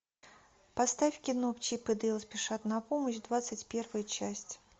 поставь кино чип и дейл спешат на помощь двадцать первая часть